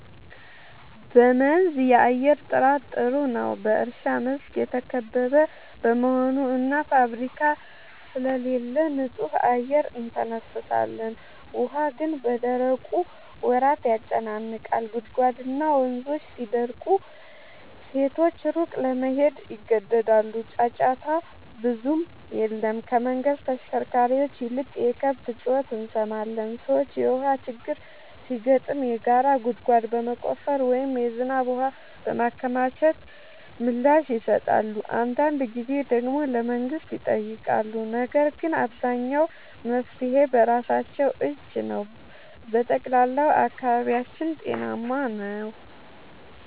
በመንዝ የአየር ጥራት ጥሩ ነው፤ በእርሻ መስክ የተከበበ በመሆኑ እና ፋብሪካ ስለሌለ ንጹህ አየር እንተነፍሳለን። ውሃ ግን በደረቁ ወራት ያጨናንቃል፤ ጉድጓድና ወንዞች ሲደርቁ ሴቶች ሩቅ ለመሄድ ይገደዳሉ። ጫጫታ ብዙም የለም፤ ከመንገድ ተሽከርካሪዎች ይልቅ የከብት ጩኸት እንሰማለን። ሰዎች የውሃ ችግር ሲገጥም የጋራ ጉድጓድ በመቆፈር ወይም የዝናብ ውሃ በማከማቸት ምላሽ ይሰጣሉ። አንዳንድ ጊዜ ደግሞ ለመንግሥት ይጠይቃሉ፤ ነገር ግን አብዛኛው መፍትሔ በራሳቸው እጅ ነው። በጠቅላላው አካባቢያችን ጤናማ ነው።